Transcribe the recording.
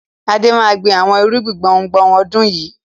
Adé máa gbin àwọn irúgbìn gbùngbùn ọdún yìí.